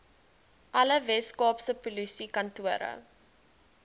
alle weskaapse polisiekantore